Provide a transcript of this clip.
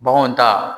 Baganw ta